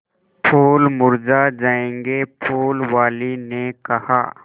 फूल मुरझा जायेंगे फूल वाली ने कहा